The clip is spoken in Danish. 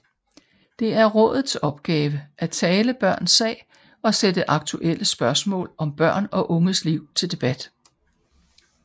Det er rådets opgave at tale børns sag og sætte aktuelle spørgsmål om børn og unges liv til debat